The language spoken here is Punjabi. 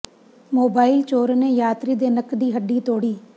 ਮੋਬਾਈਲ ਚੋਰ ਨੇ ਯਾਤਰੀ ਦੇ ਨੱਕ ਦੀ ਹੱਡੀ ਤੋੜੀ